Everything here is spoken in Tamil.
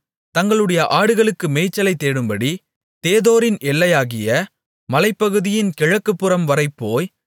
தங்களுடைய ஆடுகளுக்கு மேய்ச்சலைத் தேடும்படி தேதோரின் எல்லையாகிய மலைப்பகுதியின் கிழக்குப்புறம்வரை போய்